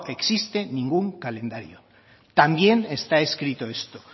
existe ningún calendario también está escrito esto